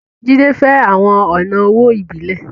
Jídé fẹ́ àwọn ọ̀nà owó ìbílẹ̀